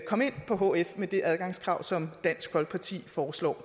komme ind på hf med det adgangskrav som dansk folkeparti foreslår